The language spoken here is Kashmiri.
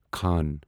خان